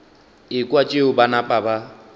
ekwa tšeo ba napa ba